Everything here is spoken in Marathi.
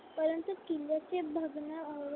परंतु किल्ल्याचे बघणं